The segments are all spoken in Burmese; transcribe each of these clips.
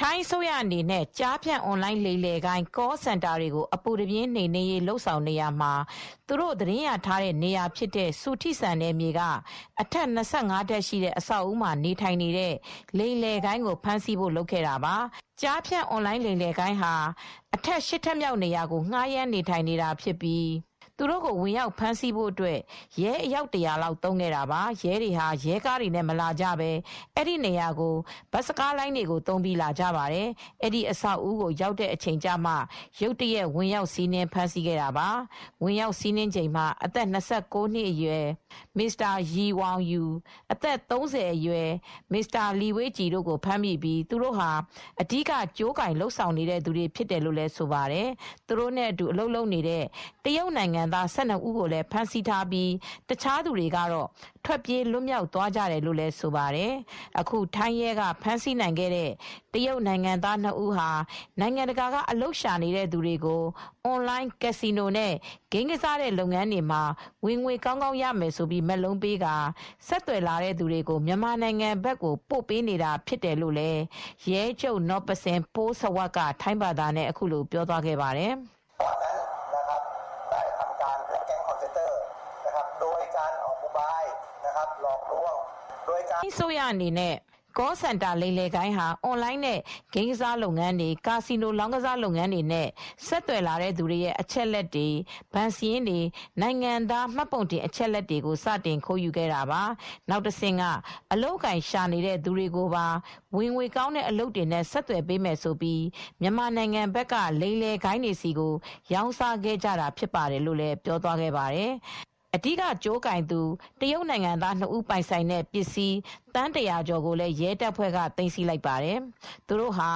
ထိုင်းအစိုးရအနေနဲ့ ကျားဖြန့် အွန်လိုင်း လိမ်လည်ဂိုဏ်း Call Center တွေကိုအပူတပြင်းနှိမ်နင်းနေတာမှာ သူတို့သတင်းရထားတဲ့နေရာဖြစ်တဲ့ စူထိစန်နယ်မြေက အထပ် ၂၅ ထပ်ရှိတဲ့အဆောက်အဦးမှာ နေထိုင်နေတဲ့ လိမ်လည်ဂိုဏ်းကိုဖမ်းဆီးဖို့ ဆောင်ရွက်ခဲ့တာဖြစ်ပါတယ်။ ကျားဖြန့် အွန်လိုင်းလိမ်လည်ဂိုဏ်းဟာ အထပ် ၈ထပ်မြောက်နေရာကို ဌားရမ်းနေထိုင်နေတာဖြစ်ပြီး သူတို့ကိုဝင်ရောက်ဖမ်းဆီးဖို့အတွက် ရဲအယောက် ၁၀၀လောက် သုံးခဲ့ပါတယ်။ ရဲတွေဟာ ရဲကားတွေနဲ့မလာကြပဲ အဲဒီနေရာကို ဘတ်စကားလိုင်းကားတွေကို သုံးပြီးလာကြတာဖြစ်ပါတယ်။ အဲဒီ အဆောက်အဦးကိုရောက်တဲ့အချိန်ကျမှ ရုတ်တရက်ဝင်ရောင်စီးနင်းဖမ်းဆီးခဲ့တာပါ ။ ဝင်ရောက်စီးနင်'ချိန်မှာအသက် ၂၉နှစ်အရွယ် Mr. YE Wanyou၊ အသက် ၃၀အရွယ် Mr. Li Weijie ကို ဖမ်းမိပြီးသူတို့ဟာ အဓိက ကြိုးကိုင်လုပ်ဆောင်နေတဲ့သူတွေဖြစ်တယ်လို့ဆိုပါတယ်။ သူတို့နဲအတူ အလုပ်လုပ်နေတဲ့ တရုတ်နိုင်ငံသား ၁၂ဦးကိုလည်းဖမ်းဆီးမိပြီး တခြားသူတွေကတော့ ထွက်ပြေးလွတ်မြောက်သွားတယ်လို့ဆိုပါတယ်။ အခုထိုင်းရဲကဖမ်းဆီးနိုင်ခဲ့တဲ့ တရုတ်နိုင်ငံသားနစ်ဦးဟာ နိုင်ငံတကာက အလုပ်ရှာနေတဲ့ သူတွေကို အွန်လိုင်း ကက်စီနိုနဲ့ ဂိမ်းကစားတဲ့ လုပ်ငန်းတွေမှာ ဝင်ငွေ ကောင်းကောင်းရမယ်ဆိုတဲ့ မက်လုံးတွေပေးပြီး စည်ရုံးကာ ဆက်သွယ်လာတဲ့သူတွေကို မြန်မာနိုင်ငံဘက်ကို ပို့ပေးနေတာလည်းဖြစ်တယ်လို့ Metropolitan Police Bureau က Pol. Maj. Gen. Noppasin Poolsawat ရဲချုပ်နော့ပဆင် ပိုးစဝပ်က ထိုင်းဘာသာနဲ့ ပြောသွားပါတယ်။ Call Center လိမ်လည်ဂိုဏ်း ဟာ အွန်လိုင်းနဲ့ ဂိမ်းကစားလုပ်ငန်းတွေ ကာစီနို လောင်းကစားလုပ်ငန်းတွေပြီးဆက်သွယ်လာတဲ့သူတွေရဲ့ အချက်အလက်တွေ ဘဏ်စာရင်းတွေ နိုင်ငံသားမှတ်ပုံတင် အချက်အလက်တွေကို စတင်ခိုးယူခဲ့တာပါ။ နောက်တဆင့်က အလုပ်အကိုင်ရှာနေတဲ့ သူတွေကိုပါ ဝင်ငွေကောင်းတဲ့ အလုပ်တွေနဲ့ဆက်သွယ်ပေးမယ် ဆိုပြီး မြန်မာနိုင်ငံဘက်က လိမ်လည်ဂိုဏ်းတွေဆီကို ရောင်းစားခဲ့ကြတာဖြစ်ပါတယ် လို့ ရဲချုပ်က ပြောသွားပါတယ်။ အဲဒီ အဓိကကြိုးကိုင်သူ တရုတ်နိုင်ငံသားနစ်ဦး ပိုင်ဆိုင်တဲ့ ပစ္စည်း သန်း၁၀၀ကျော် ကိုလည်း ရဲတပ်ဖွဲ့ ကကသိမ်းဆည်းလိုက်ကြောင်း ထုတ်ပြန်ခဲ့ပါတယ်။ သူတို့ဟာ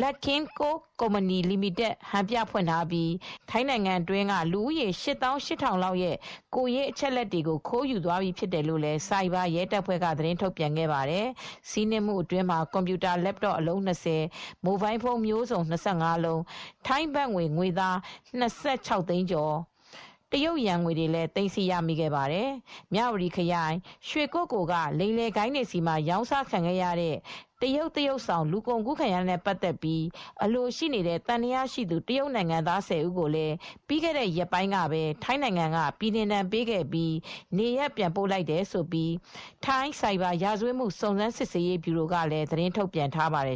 Luck King Co., Ltd. ကုမ္ပဏီကို ဟန်ပြဖွင့်ထားပြီး ထိုင်းနိုင်ငံ အတွင်းက လူဦးရေ ၈၈၀၀၀ လောက်ရဲ့ကိုယ်ရေးအချက်အလက်တွေကို ခိုးယူသွားပြီးဖြစ်တယ်လို့ဆိုက်ဘာရဲတပ်ဖွဲ့ကသတင်းထုတ်ပြန်ခဲ့ပါတယ်။ စီးနင်းမှုအတွင်းမှာ ကွန်ပျူတာလက်တော့အလုံး ၂၀၊ မိုဘိုင်းဖုန်းမျိုးစုံ ၂၅ လုံး၊ ထိုင်းဘတ်ငွေသား ၂၆၅,၉၅၀ ဘတ်နဲ့ တရုတ်ယွမ်ငွေတွေလည်းသိမ်းဆည်းရမိခဲ့ပါတယ်။ မြ၀တီခရိုင်ရွှေကုက္ကိုလ်ကလိမ်လည်ဂိုဏ်းတွေဆီမှာတရုတ်သရုပ်ဆောင် လူကုန်ကူးခံရတာနဲ့ပတ်သက်လို့အလိုရှိနေတဲ့ သံသယရှိသူ တရုတ်နိုင်ငံသား (၁၀)ဦးကို လည်းပြီးခဲ့တဲ့ ရက်ပိုင်းကပဲ ထိုင်း က ပြည်နှင်ဒဏ်ပေး ပြီးနေရပ်ပြန်ပို့လိုက်တယ်လို့ ထိုင်း ဆိုက်ဘာရာဇ၀တ်မှု စုံစမ်းစစ်ဆေးရေးဗျူရို ကလည်းသတင်းထုတ်ပြန်ထားပါတယ်